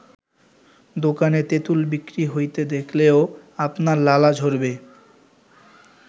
দোকানে তেঁতুল বিক্রি হইতে দেখলেও আপনার লালা ঝরবে।